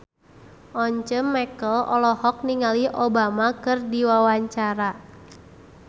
Once Mekel olohok ningali Obama keur diwawancara